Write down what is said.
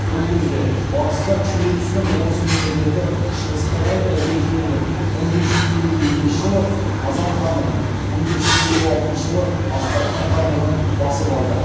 бұл кезде батыста күшейе түскен орыс мемлекеті шығысқа қарай ірге кеңейтіп мың бес жүз елу екінші жылы қазан хандығын мың бес жүз елу алтыншы жылы астрахан хандығын басып алды